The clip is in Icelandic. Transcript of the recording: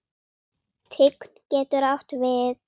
Tign getur átt við